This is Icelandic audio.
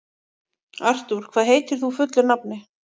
Artúr, hvað heitir þú fullu nafni?